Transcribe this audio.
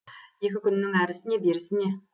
екі күннің әрісі не берісі не